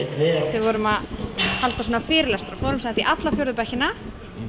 þau við vorum að halda svona fyrirlestra fórum sem sagt í alla fjórðu bekkina